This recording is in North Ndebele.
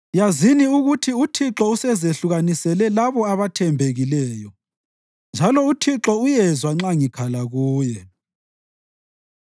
Yazini ukuthi uThixo usezehlukanisele labo abathembekileyo, njalo uThixo uyezwa nxa ngikhala kuye.